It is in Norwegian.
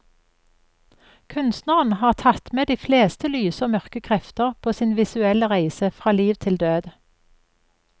Kunstneren har tatt med de fleste lyse og mørke krefter på sin visuelle reise fra liv til død.